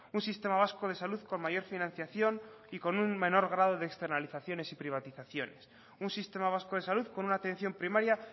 un sistema vasco de salud con mayor financiación y con un menor grado de externalizaciones y privatizaciones un sistema vasco de salud con una atención primaria